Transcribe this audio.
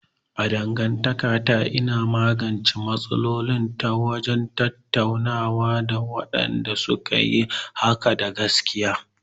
A dangantakata, ina magance matsaloli ta wajen tattaunawa da mutanen da suka yi hakan da gaskiya.